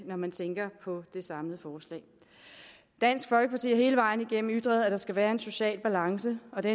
når man tænker på det samlede forslag dansk folkeparti har hele vejen igennem ytret at der skal være en social balance og det